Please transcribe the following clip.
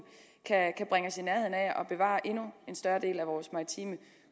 kan bringe os i nærheden af at bevare en endnu større del af vores maritime